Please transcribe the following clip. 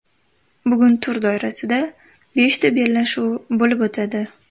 Bugun tur doirasida beshta bellashuv bo‘lib o‘tadi.